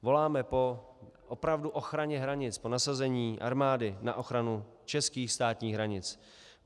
Voláme po opravdu ochraně hranic, po nasazení armády na ochranu českých státních hranic.